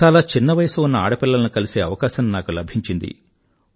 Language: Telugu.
చాలా చిన్న వయసు ఉన్న ఆడపిల్లలను కలిసే అవకాశం నాకు లభించింది